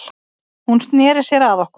Hún sneri sér að okkur